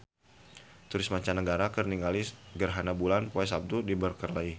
Turis mancanagara keur ningali gerhana bulan poe Saptu di Berkeley